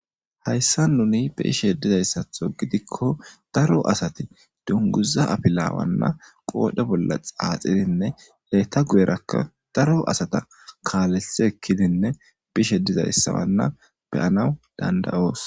hayssa nuni biishe dizayssatho gidikko daro asati dunguza apilaawanna qoodhe bolla xaaxidinne leetta guyerakka daro asata kaalesi ekkidinne bishe dizayssawanna beyanaw dandayoos